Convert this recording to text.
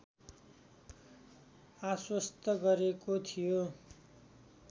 आश्वस्त गरेको थियो